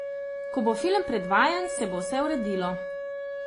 Ko bo film predvajan, se bo vse uredilo.